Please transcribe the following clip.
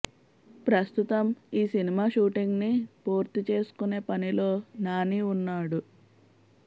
ప్రస్తుతం ఈ cinema shooting ని పూర్తి చేసుకునే పనిలో నాని వున్నాడు